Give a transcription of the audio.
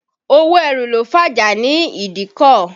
Owó ẹrù ló fàjà ní ìdíkọ̀.